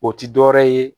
O ti dɔwɛrɛ ye